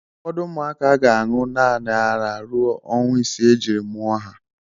Ụfọdụ ụmụaka ga-aṅụ naanị ara ruo ọnwa isii ejiri mụọ ha.